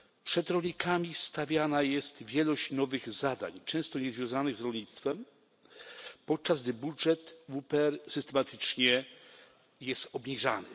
Przed rolnikami stawiana jest wielość nowych zadań, często niezwiązanych z rolnictwem, podczas gdy budżet WPR jest systematycznie obniżany.